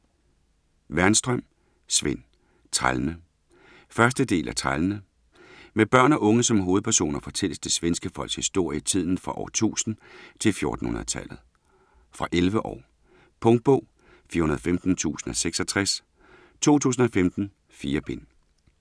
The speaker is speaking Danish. Wernström, Sven: Trællene 1. del af Trællene. Med børn og unge som hovedpersoner fortælles det svenske folks historie i tiden fra år 1000 til 1400-tallet. Fra 11 år. Punktbog 415066 2015. 4 bind.